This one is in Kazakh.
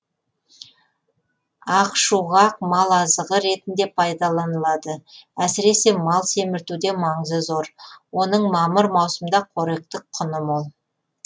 ақшуғақ мал азығы ретінде пайдаланылады әсіресе мал семіртуде маңызы зор оның мамыр маусымда қоректік құны мол